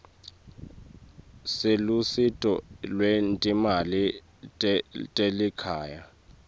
selusito lwetimali telikhaya